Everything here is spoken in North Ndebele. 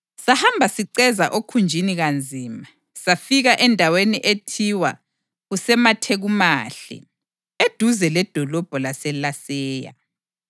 Sahamba siceza okhunjini kanzima, safika endaweni ethiwa kuseMathekumahle, eduze ledolobho laseLaseya.